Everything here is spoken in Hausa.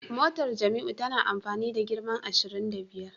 Motar Jamiu tana amfani da girma ashirin da biyar